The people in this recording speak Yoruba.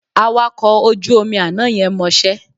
Awakọ̀ ojú omi àná yẹn mọṣẹ́